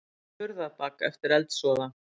Vakta Hurðarbak eftir eldsvoða